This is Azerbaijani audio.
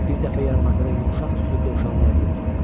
Bir dəfə yarmarkada yumşaq tüklü dovşanlar gördüm.